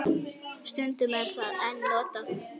Stundum er það enn notað.